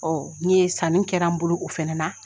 n'i ye sanni kɛra n bolo o fɛnɛ na